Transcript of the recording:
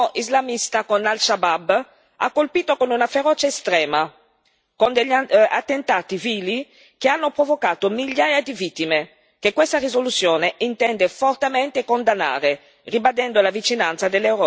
ha colpito con una ferocia estrema, con degli attentati vili che hanno provocato migliaia di vittime, che questa risoluzione intende fortemente condannare, ribadendo la vicinanza dell'Europa a questo processo di pace.